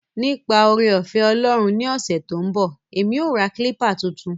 Nipa oore-ofe Olorun ni ose to n bo, emi o ra kilpa tuntun.